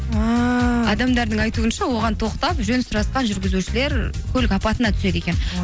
ааа адамдардың айтуынша оған тоқтап жөн сұрасқан жүргізушілер көлік апатына түседі екен